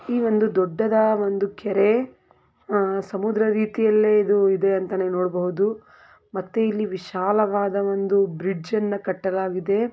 ಈ ಒಂದು ದೊಡ್ಡದ ಡಾ ಕೆರೆ ಸಮುದ್ರ ರೀತಿಯಲ್ಲೇ ಇದೆ ಅಂತ ನೋಡ ಬಹುದು ಮತ್ತೆ ಇಲ್ಲಿ ವಿಶಾಲ ವಾದ ಬ್ರಿಜ್ ಅನ್ನು ಕಟ್ಟಲಾಗಿದೆ.